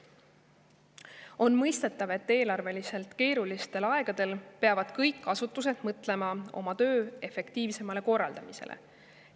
On mõistetav, et eelarveliselt keerulistel aegadel peavad kõik asutused mõtlema oma töö efektiivsemale korraldamisele.